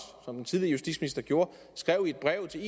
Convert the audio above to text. som den tidligere justitsminister gjorde skrev i et brev til